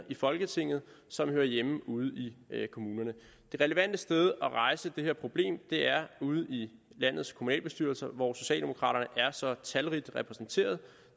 i folketinget som hører hjemme ude i kommunerne det relevante sted at rejse det her problem er ude i landets kommunalbestyrelser hvor socialdemokraterne er så talrigt repræsenteret